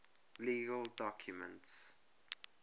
legal documents